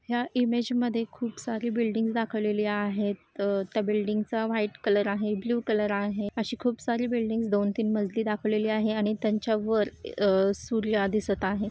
ह्या ईमेज मध्ये खूप सारी बिल्डिंग दाखवलेली आहेत. त्या बिल्डिंग चा व्हाइट कलर आहे. ब्लू कलर आहे. अशी खूप सारी बिल्डींग्स दोन तीन मजली दाखवली आहे आणि त्यांच्या वर अ सूर्य दिसत आहे.